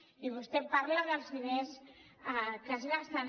i vostè parla dels diners que es gasten